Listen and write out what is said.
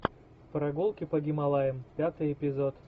прогулки по гималаям пятый эпизод